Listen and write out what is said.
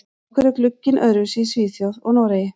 Af hverju er glugginn öðruvísi í Svíþjóð og Noregi?